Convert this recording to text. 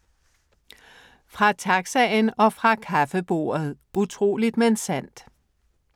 Fra taxaen og fra kaffebordet - utroligt, men sandt